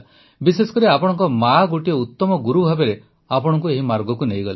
ବିଶେଷକରି ଆପଣଙ୍କ ମାଆ ଗୋଟିଏ ଉତ୍ତମ ଗୁରୁ ଭାବେ ଆପଣଙ୍କୁ ଏହି ମାର୍ଗକୁ ନେଇଗଲେ